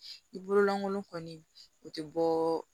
I bolo lankolon kɔni o tɛ bɔ